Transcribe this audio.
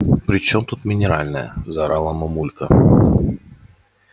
при чем тут минеральная заорала мамулька